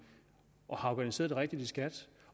har organiseret det rigtigt i skat